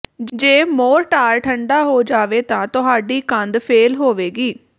ਜੇ ਮੋਰਟਾਰ ਠੰਡਾ ਹੋ ਜਾਵੇ ਤਾਂ ਤੁਹਾਡੀ ਕੰਧ ਫੇਲ ਹੋਵੇਗੀ